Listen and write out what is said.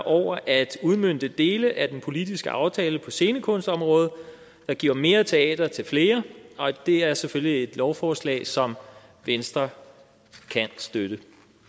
over at udmønte dele af den politiske aftale på scenekunstområdet der giver mere teater til flere og det er selvfølgelig et lovforslag som venstre kan støtte